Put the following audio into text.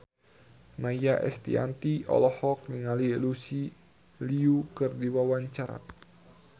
Maia Estianty olohok ningali Lucy Liu keur diwawancara